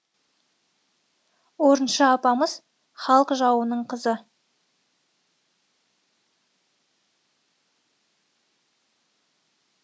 орынша апамыз халық жауының қызы